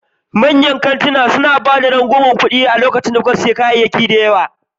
Manyan kantuna da yawa suna ba da rangwamen kuɗi lokacin da kuka sayi takamaiman adadin kayayyaki.